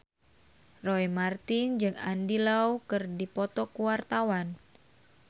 Roy Marten jeung Andy Lau keur dipoto ku wartawan